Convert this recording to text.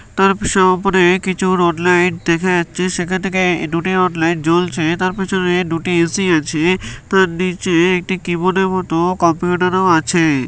তার পাশে উপরে কিছু রড লাইট দেখা যাচ্ছে সেখানে দুটি রড লাইট জলছে তার পিছনে দুটি এ.সি. আছে তার নিচে একটি কিবোর্ড এর মতো কম্পিউটার ও আছে ।